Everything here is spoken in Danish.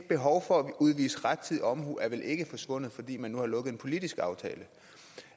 behovet for at udvise rettidig omhu er vel ikke forsvundet fordi man nu har lukket en politisk aftale